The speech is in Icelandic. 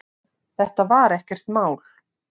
Þetta var ekkert mál.